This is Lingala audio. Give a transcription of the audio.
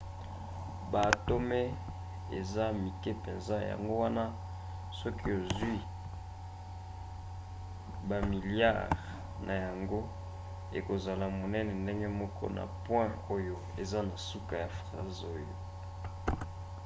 baatome eza mike mpenza yango wana soki ozwi bamiliare na yango ekozala monene ndenge moko na point oyo eza na suka ya phrase oyo